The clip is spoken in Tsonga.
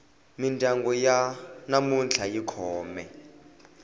mindyangu ya namuntlha yi khome